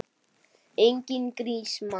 Enginn grís, mann!